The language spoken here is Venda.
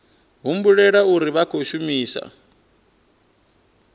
humbulela uri vha khou shumisa